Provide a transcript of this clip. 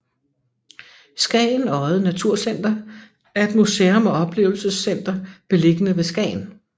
Skagen Odde Naturcenter er et museum og oplevelsescenter beliggende ved Skagen